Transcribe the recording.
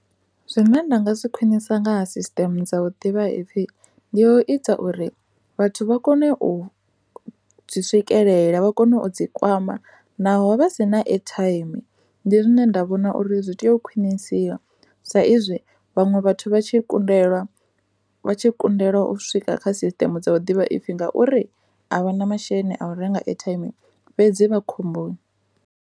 Zwine nda nga zwi kheinisa nga ha sisiṱemu dza vhuḓivhaipfhi ndi u ita uri vhathu vha kone u zwi swikelela vha kone u zwi kwama naho vha naho vha si na airtime ndi zwine nda vhona uri zwi tea u khwinisiwa sa izwi vhaṅwe vhathu vha tshi kundelwa vha tshi kundekwa u swika kha sisiṱe dza u ḓivha iphfi ngauri a vha na masheleni a u renga airtime fhedzi vha khomboni.